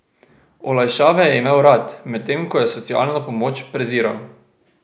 Olajšave je imel rad, medtem ko je socialno pomoč preziral.